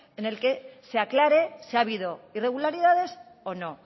en el que se aclare si ha habido irregularidades o no